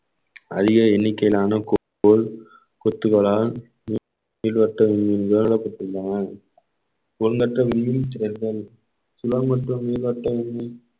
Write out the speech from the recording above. அதிக எண்ணிக்கையிலான குத்துக்களால் நீள்வட்ட மீன்மீன்கள் நிறுவப்பட்டுள்ளன எண்ணற்ற மின்மீன் நீள்வட்டம்